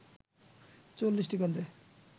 ৪০টি কেন্দ্রে